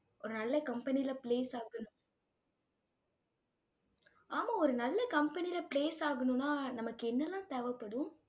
ஒரு நல்ல company ல place ஆகணும் ஆமா ஒரு நல்ல company ல place ஆகணும்னா நமக்கு என்னெல்லாம் தேவைப்படும்?